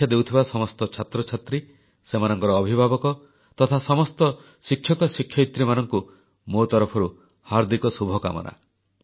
ପରୀକ୍ଷା ଦେଉଥିବା ସମସ୍ତ ଛାତ୍ରଛାତ୍ରୀ ସେମାନଙ୍କର ଅଭିଭାବକ ତଥା ସମସ୍ତ ଶିକ୍ଷକ ଶିକ୍ଷୟିତ୍ରୀମାନଙ୍କୁ ମୋ ତରଫରୁ ହାର୍ଦ୍ଦିକ ଶୁଭକାମନା